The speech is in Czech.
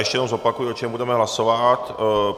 Ještě jednou zopakuji, o čem budeme hlasovat.